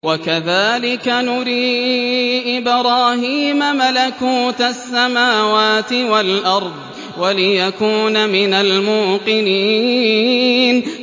وَكَذَٰلِكَ نُرِي إِبْرَاهِيمَ مَلَكُوتَ السَّمَاوَاتِ وَالْأَرْضِ وَلِيَكُونَ مِنَ الْمُوقِنِينَ